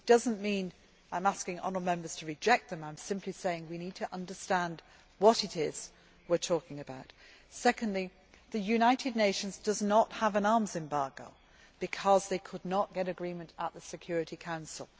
It does not mean I am asking the honourable Members to reject them, I am simply saying we need to understand what it is we are talking about. Secondly, the United Nations does not have an arms embargo because they could not get agreement in the Security Council.